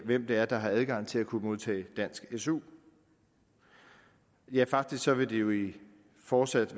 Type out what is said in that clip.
hvem det er der har adgang til at kunne modtage dansk su ja faktisk vil det jo fortsat